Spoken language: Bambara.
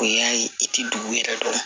O y'a ye i ti dugu yɛrɛ dɔn